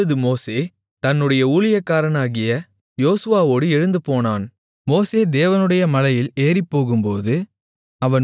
அப்பொழுது மோசே தன்னுடைய ஊழியக்காரனாகிய யோசுவாவோடு எழுந்து போனான் மோசே தேவனுடைய மலையில் ஏறிப்போகும்போது